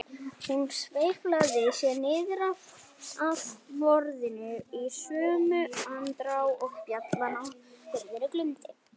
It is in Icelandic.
Hún sveiflaði sér niður af borðinu í sömu andrá og bjallan á hurðinni glumdi.